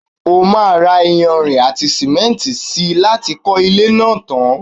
o máà ra iyanrìn àti sìmẹ́ntì si láti kọ́ ilé náà tan.